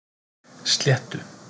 Sléttu